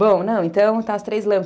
Bom, não, então está as três lâmpadas.